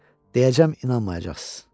Deyəcəm inanmayacaqsız.